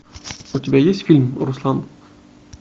у тебя есть фильм руслан